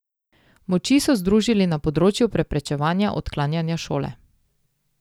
Moči so združili na področju preprečevanja odklanjanja šole.